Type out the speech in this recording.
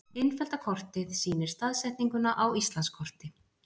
Innfellda kortið sýnir staðsetninguna á Íslandskorti.